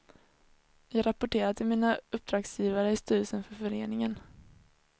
Jag rapporterar till mina uppdragsgivare i styrelsen för föreningen.